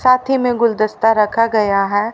साथ ही में गुलदस्ता रखा गया है।